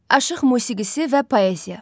Aşıq musiqisi və poeziya.